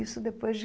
Isso depois de